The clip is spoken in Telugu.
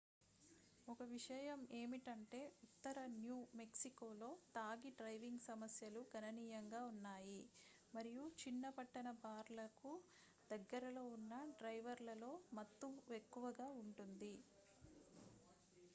ఒక విషయం ఏమిటంటే ఉత్తర న్యూ మెక్సికోలో తాగి డ్రైవింగ్ సమస్యలు గణనీయంగా ఉన్నాయి మరియు చిన్న-పట్టణ బార్లకు దగ్గరలో ఉన్న డ్రైవర్లలో మత్తు ఎక్కువగా ఉంటుంది